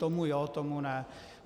Tomu jo, tomu ne.